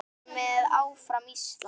Ég er með, áfram Ísland.